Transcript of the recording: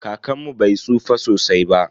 Kakanmu bai tsufa sosai ba.